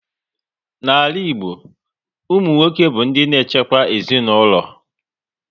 N'ala Igbo, ụmụ nwoke bụ ndị na echekwa ezinaụlọ